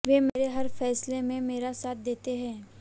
वे मेरे हर फैसले में मेरा साथ देते हैं